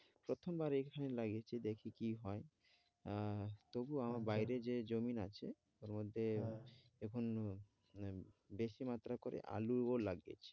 প্রথমবার এইখানে লাগিয়েছি দেখি কি হয়? আহ তবুও আমার বাইরে যে জমিন আছে ওর মধ্যে এখনও মানে বেশি মাত্রায় করে আলুও লাগিয়েছি।